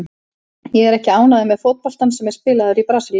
Ég er ekki ánægður með fótboltann sem er spilaður í Brasilíu.